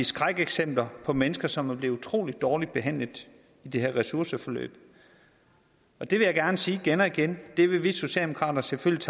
skrækeksempler på mennesker som er blevet utrolig dårligt behandlet i det her ressourceforløb det vil jeg gerne sige igen og igen at vi socialdemokrater selvfølgelig